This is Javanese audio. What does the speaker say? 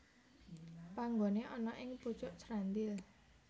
Panggoné ana ing pucuk Srandil